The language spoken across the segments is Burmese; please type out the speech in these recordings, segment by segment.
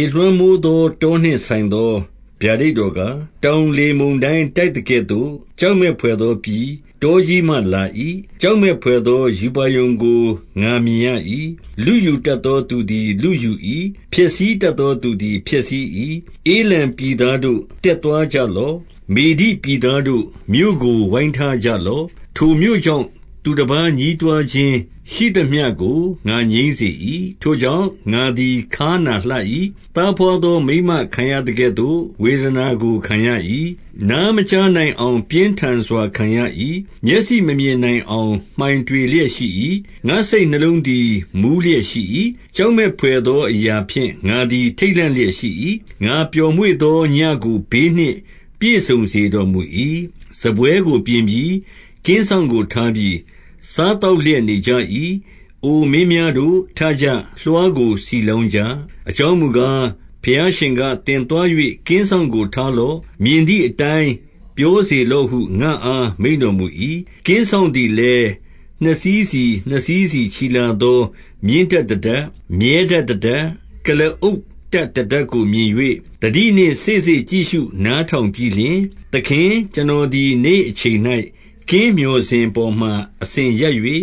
ေလွှမ်းမိုးသော တောနှင့်ဆိုင်သော ဗျာဒိတ် တော်ကား၊ တောင်လေမုန်တိုင်းတိုက်သကဲ့သို့ ကြောက် မက်ဘွယ်သော ပြည်၊ တောကြီးမှလာ၏။ 2 ကြောက်မက်ဘွယ်သော ရူပါရုံကို ငါမြင်ရ၏။ လုယူတတ်သောသူသည် ဖျက်ဆီး၏။ ဧလံပြည်သားတို့၊ တက်သွားကြလော့။ မေဒိပြည်သားတို့၊ မြို့ကိုဝိုင်းထားကြ လော့။ ထိုမြို့ကြောင့်၊ သူတပါးညည်းတွားခြင်းရှိသမျှကို ငါငြိမ်းစေ၏။ 3 ထို့ကြောင့်၊ ငါသည် ခါးနာလှ၏။ သားဘွား သော မိန်းမခံရသကဲ့သို့ ဝေဒနာကိုခံရ၏။ နားမကြားနိုင် အောင် ပြင်းထန်စွာခံရ၏။ မျက်စိမမြင်နိုင်အောင် မှိုင်တွေလျက်ရှိ၏။ 4 ငါ့စိတ်နှလုံးသည် မူးလျက်ရှိ၏။ ကြောက်မက် ဘွယ်သော အရာဖြင့် ငါသည်ထိတ်လန့်လျက်ရှိ၏။ ငါပျော်မွေ့သောညဉ့်ကိုဘေးနှင့် ပြည့်စုံစေတော်မူ၏။ 5 စားပွဲကိုပြင်ပြီ။ ကင်းစောင့်ကို ထားပြီ။ စားသောက်လျက်နေကြပြီ။ အိုမင်းများတို့၊ ထကြ၊ လွှားကို ဆီလောင်းကြ။ 6 အကြောင်းမူကား၊ ဘုရားရှင်က၊ သင်သွား၍ ကင်းစောင့်ကိုထားလော့။ မြင်သည့်အတိုင်းပြော စေ လော့ဟု ငါ့အားမိန့်တော်မူ၏။ 7 ကင်းစောင့်သည်လည်း၊နှစ်စီးစီ နှစ်စီးစီ ချီလာ သော မြင်းတပ်တတပ်၊ မြည်းတပ်တတပ်၊ ကုလားအုပ် တပ်တတပ်ကို မြင်၍၊ သတိနှင့် စေ့စေ့ကြည့်ရှု နားထောင် ပြီးလျှင်၊ 8 သခင်၊ကျွန်တော်သည် နေ့အချိန်၌ ကင်းမျှော် စင်ပေါ်မှာ အစဉ်ရပ်၍၊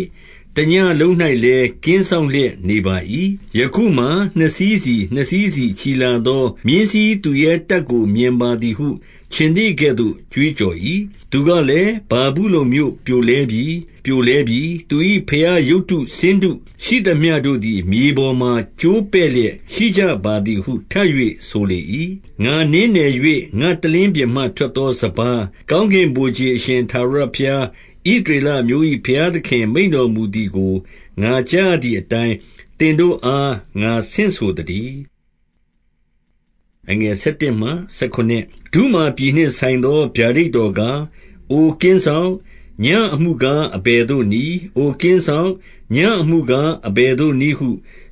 တညဉ့်လုံး၌လည်း ကင်းစောင့် လျက်နေပါ၏။ 9 ယခုမှာ နှစ်စီးစီ နှစ်စီးစီ ချီလာသော မြင်းစီးသူ ရဲတပ်ကို မြင်ပါသည်ဟု ခြင်္သေ့ကဲ့သို့ ကြွေးကြော်၏။ သူ ကလည်း၊ ဗာဗုလုန်မြို့ပြိုလဲပြီ၊ ပြိုလဲပြီ၊ သူ၏ဘုရားရုပ်တု ဆင်းတု ရှိသမျှတို့သည် မြေပေါ်မှာ ကျိုးပဲ့လျက် ရှိကြ ပါသည်ဟု ထပ်၍ဆိုလေ၏။ 10 ငါနင်းနယ်၍ ငါ့တလင်းပြင်မှ ထွက်သောစပါး၊ ကောင်းကင်ဗိုလ်ခြေ အရှင် ထာဝရဘုရား၊ ဣသရေလ အမျိုး၏ ဘုရား သခင်မိန့်တော်မူသည်ကို ငါကြားရသည် အတိုင်း၊ သင်တို့အား ငါဆင့်ဆိုသတည်း။ 11 ဒုမာပြည်နှင့်ဆိုင်သော ဗျာဒိတ်တော်ကား၊ အိုကင်းစောင့်၊ ညဉ့်အမှုကား အဘယ်သို့နည်း။ အိုကင်း စောင့်၊ ညဉ့်အမှုကား အဘယ်သို့နည်းဟု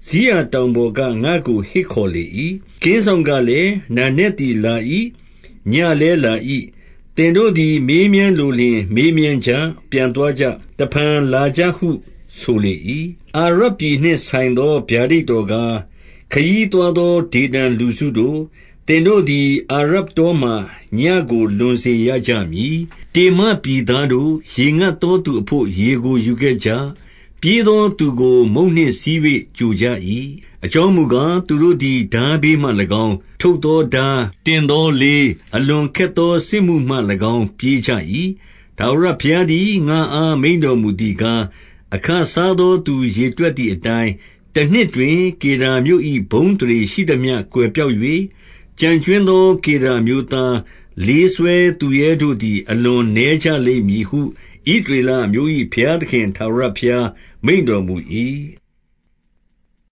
စိရ တောင် ပေါ်က ငါ့ကို ဟစ်ခေါ်လေ၏။ 12 ကင်းစောင့်ကလည်း၊ နံနက်သည်လာ၏။ ညဉ့် လည်းလာ၏။ သင်တို့သည် မေးမြန်းလိုလျှင် မေးမြန်း ကြ။ ပြန်သွားကြ။ တဖန် လာကြဟု ဆိုလေ၏။ 13 အာရပ်ပြည်နှင့် ဆိုင်သော ဗျာဒိတ်တော်ကား၊ ခရီးသွားသော ဒေဒန် လူစုတို့၊ သင်တို့သည် အာရပ်တော မှာ ညဉ့်ကို လွန်စေရကြမည်။ 14 တေမပြည်သားတို့၊ ရေငတ်သောသူ အဘို့ ရေကို ယူခဲ့ကြ၏။ ပြေးသောသူကို မုန့်နှင့်ဆီး၍ ကြိုကြ၏။ 15 အကြောင်းမူကား၊ သူတို့သည် ထားဘေးမှ၎င်း၊ ထုတ်သောထား၊ တင်သောလေး၊ အလွန်ခက်သော စစ်မှု မှ၎င်းပြေးကြ၏။ 16 ထာဝရဘုရားသည် ငါ့အား မိန့်တော်မူသည် ကား၊ အခစားသောသူရေတွက်သည်အတိုင်း၊ တနှစ်တွင် ကေဒါမြို့၏ ဘုန်းအသရေ ရှိသမျှ ကွယ်ပျောက်၍၊ 17 ကျန်ကြွင်းသော ကေဒါအမျိုးသား၊ လေးစွဲသူရဲ တို့သည် အလွန် နည်းကြလိမ့်မည်ဟု၊ ဣသရေလအမျိုး ၏ ဘုရားသခင် ထာဝရဘုရား မိန့်တော်မူ၏။